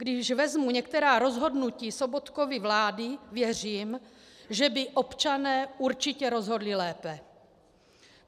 Když vezmu některá rozhodnutí Sobotkovy vlády, věřím, že by občané určitě rozhodli lépe.